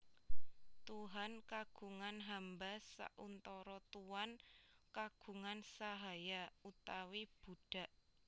Tuhan kagungan hamba sauntara Tuan kagungan sahaya utawi budak